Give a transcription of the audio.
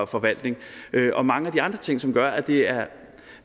forvaltning og mange af de andre ting som gør at det er